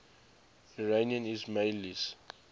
iranian ismailis